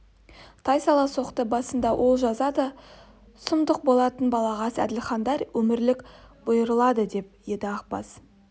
тайсала соқты басында ол жаза да сұмдық болатын балағаз әділхандар өмірлік бұйырылады деп еді ақбас